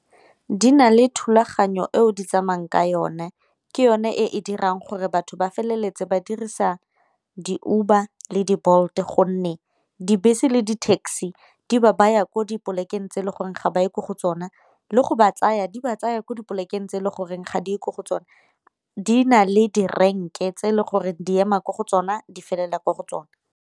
Di na le thulaganyo eo di tsamayang ka yone ke yone e e dirang gore batho ba feleletse ba dirisa di-Uber le di-Bolt, gonne dibese le di-taxi di ba baya ko dipolekeng tse e le goreng ga ba ye ko go tsona le go ba tsaya di ba tsaya kwa di polekeng tse e le goreng ga di ye ko go tsone. Di na le direnke tse e le goreng di ema kwa go tsona di felela ko go tsone.